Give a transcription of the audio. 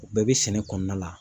O bɛɛ bɛ sɛnɛ kɔnɔna la.